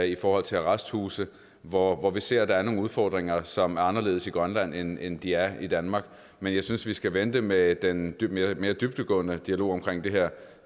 i forhold til arresthuse hvor hvor vi ser at der er nogle udfordringer som er anderledes i grønland end end de er i danmark men jeg synes vi skal vente med den mere dybdegående dialog om det her